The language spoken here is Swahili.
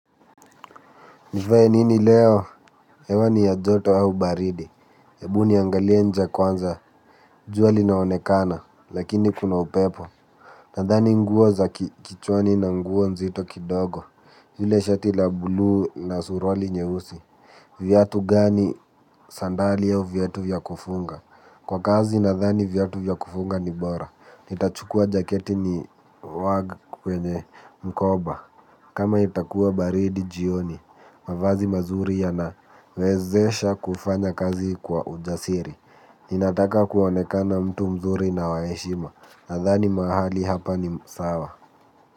Nivae nini leo? Hewa ni ya joto au baridi. Hebu niangalie nje kwanza. Jua linaonekana. Lakini kuna upepo. Nadhani nguo za kichwani na nguo nzito kidogo. Yule shati la bluu na suruali nyeusi. Viatu gani sandali au viatu vyakufunga? Kwa kazi nadhani viatu vyakufunga ni bora. Nitachukua jaketi ni wage kwenye mkoba. Kama itakuwa baridi jioni. Mavazi mazuri ya na wezesha kufanya kazi kwa ujasiri. Ninataka kuonekana mtu mzuri na wa heshima. Nadhani mahali hapa ni sawa.